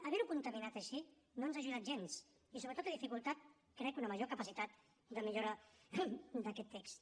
haver ho contaminat així no ens ha ajudat gens i sobretot ha dificultat crec una major capacitat de millora d’aquest text